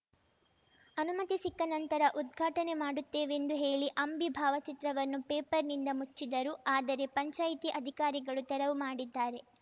ಅನುಮತಿ ಸಿಕ್ಕ ನಂತರ ಉದ್ಘಾಟನೆ ಮಾಡುತ್ತೇವೆಂದು ಹೇಳಿ ಅಂಬಿ ಭಾವಚಿತ್ರವನ್ನು ಪೇಪರ್‌ನಿಂದ ಮುಚ್ಚಿದರು ಆದರೆ ಪಂಚಾಯಿತಿ ಅಧಿಕಾರಿಗಳು ತೆರವು ಮಾಡಿದ್ದಾರೆ